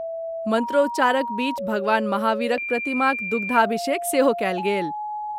मंत्रोच्चारक बीच भगवान महावीरक प्रतिमाक दुग्धाभिषेक सेहो कयल गेल।